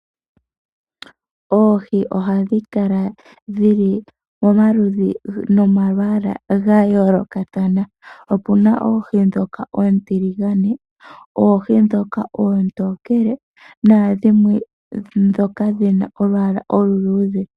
Oohi ohadhi kala dhi li momaludhi nomalwaala gayoolokathana. Opuna omaludhi oontiligane, oohi dhoka oontokele nadhimwe dhoka dhina olwaala olu luudhe.